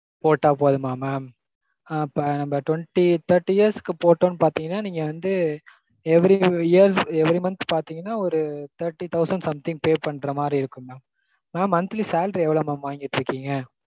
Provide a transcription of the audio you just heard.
போட்டா போதுமா mam? அப்போ twenty thirty years க்கு போட்டோம்னு பாத்திங்கண்ணா நீங்க வந்து every years every months பாத்திங்கண்ணா ஒரு thirty thousand something pay பண்ற மாதிரி இருக்கும் mam.